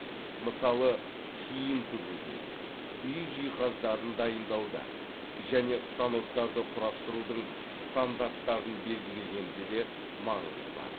мысалы киім тігуде үй жиһаздарын дайындауда және станоктарды құрастырудың стандарттарын белгілегенде де маңызы бар